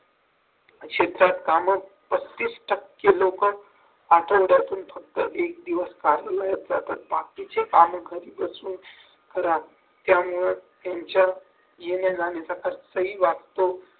शेतात काम पस्तीस टक्के लोक आठवड्यातून फक्त एक दिवस कार्यालयात जातात बाकीचे काम घरी बसून करतात त्यामुळे त्यांच्या येण्या-जाण्याचा खर्चही वाचतो